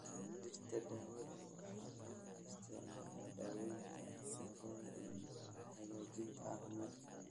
Dhirta daawada waxaa loo isticmaalaa daaweynta cudurada iyo hagaajinta caafimaadka.